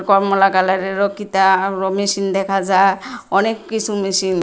কমলা কালারেরও কি তা আরও মেশিন দেখা যা অনেক কিছু মেশিন ।